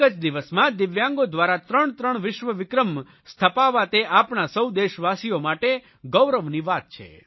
એક જ દિવસમાં દિવ્યાંગો દ્વારા ત્રણત્રણ વિશ્વવિક્રમ સ્થાપાવા તે આપણે સૌ દેશવાસીઓ માટે ગૌરવની વાત છે